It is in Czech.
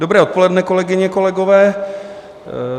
Dobré odpoledne, kolegyně, kolegové.